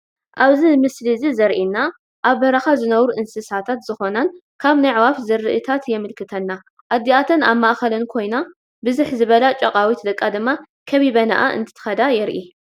ኣብዚ ምስሊ እዚ ዘሪኤና ኣብ በረኻ ዝነብሩ እንስሳታት ዝኾናን ካብ ናይ ኣዕዋፍ ዝርኢታት የመልክተና፡፡ ኣዲኣተን ኣብ ማእኸለን ኮይና ብዝሕ ዝበላ ጫቓዊት ደቃ ድማ ከቢበናኣ እንትኸዳ የርኢ፡፡